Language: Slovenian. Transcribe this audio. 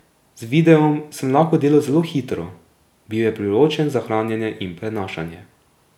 Z videom sem lahko delal zelo hitro, bil je priročen za hranjenje in prenašanje.